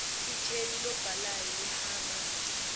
ikheli lobhalayo lihamba